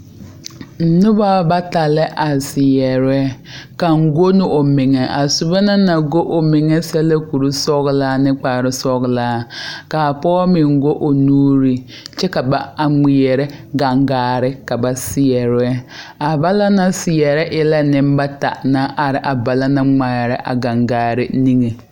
Noba bata la are seɛrɛ kaŋ go la o meŋɛ naŋ go la kurisɔglaa ane kparesɔglaa kaa pɔge meŋ go o nuuri kyɛ ka ba ŋmeɛrɛ gaŋgaare ka ba seɛrɛ a ba naŋ seɛrɛ e la nembata naŋ are a ba naŋ ŋmeɛrɛ a gaŋgaare niŋeŋ.